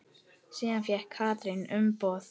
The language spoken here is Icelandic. Síðan fékk Katrín umboð.